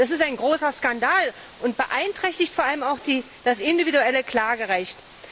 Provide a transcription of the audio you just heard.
Das ist ein großer Skandal und beeinträchtigt vor allem auch das individuelle Klagerecht.